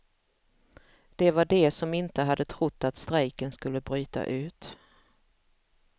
Det var de som inte hade trott att strejken skulle bryta ut.